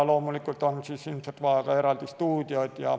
Loomulikult on ilmselt vaja ka eraldi stuudioid.